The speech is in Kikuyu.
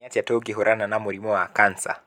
Nĩ atĩa tũngĩhũrana na mũrĩmũ wa kansa?